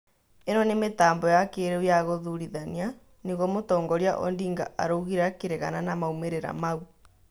ĩno nĩ mĩtambo ya kĩrĩu ya gũthũrithania," nĩguo mũtongoria Odinga araugire akirĩgana na maumĩrĩra maũ